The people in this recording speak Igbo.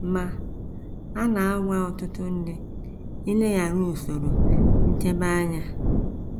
Ma, a na - anwa ọtụtụ ndị ileghara usoro nchebe anya.